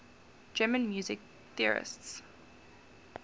german music theorists